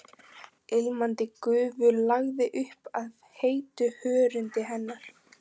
Ilmandi gufu lagði upp af heitu hörundi hennar.